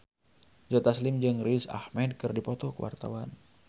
Joe Taslim jeung Riz Ahmed keur dipoto ku wartawan